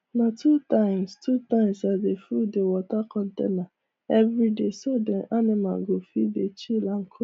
na two times two times i dey full the water container every dayso dem animal go fit dey chill and